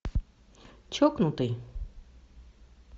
чокнутый